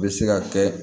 Bɛ se ka kɛ